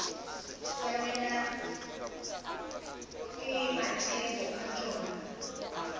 swanelwa ke mathebo a tšona